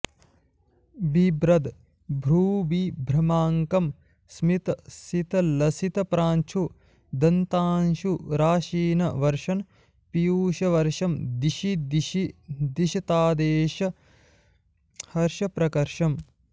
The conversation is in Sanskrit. बिभ्रद् भ्रूविभ्रमाङ्कं स्मितसितलसितप्रांशुदन्तांशुराशीन् वर्षन् पीयूषवर्षं दिशि दिशि दिशतादेष हर्षप्रकर्षम्